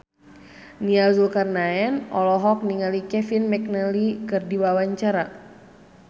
Nia Zulkarnaen olohok ningali Kevin McNally keur diwawancara